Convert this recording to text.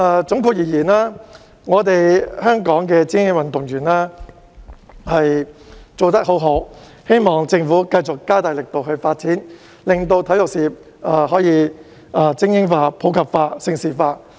總括而言，我們香港的精英運動員做得很好，希望政府繼續加大力度發展，令體育事業可以精英化、普及化及盛事化。